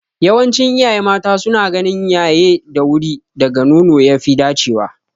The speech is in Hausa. Yawancin iyaye mata suna ganin yaye da wuri daga nono ya fi dacewa.